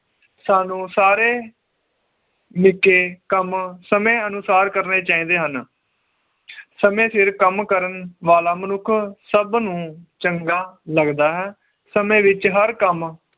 ਸਾਨੂੰ ਸਾਰੇ ਕੰਮ ਸਮੇ ਅਨੁਸਾਰ ਕਰਨੇ ਚਾਹੀਦੇ ਹਨ ਸਮੇ ਸਿਰ ਕੰਮ ਕਰਨ ਵਾਲਾ ਮਨੁੱਖ ਸਬ ਨੂੰ ਚੰਗਾ ਲੱਗਦਾ ਹੈ ਸਮੇ ਵਿਚ ਹਰ ਕੰਮ